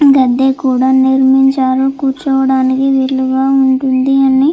గద్దె కూడా నిర్మించారు కూర్చోడానికి వీలుగా ఉంటుందని.